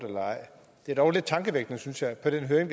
eller ej det er dog lidt tankevækkende synes jeg at på den høring